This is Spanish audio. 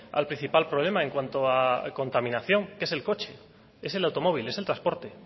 al principal problema en cuanto a contaminación que es el coche es el automóvil es el transporte